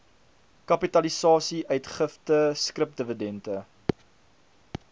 kapitalisasie uitgifte skripdividende